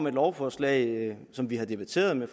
et lovforslag som vi har debatteret med